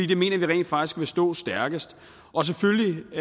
det mener vi rent faktisk vil stå stærkest selvfølgelig